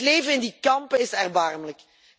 Het leven in die kampen is erbarmelijk.